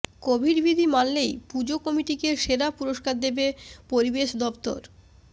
Covid বিধি মানলেই পুজো কমিটিকে সেরার পুরষ্কার দেবে পরিবেশ দফতর